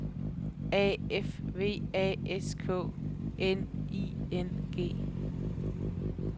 A F V A S K N I N G